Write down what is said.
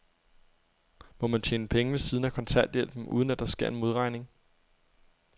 Må man tjene penge ved siden af kontanthjælpen, uden at der sker en modregning?